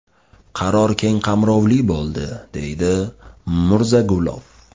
Qaror keng qamrovli bo‘ldi”, deydi Murzagulov.